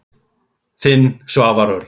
Þinn, Svavar Örn.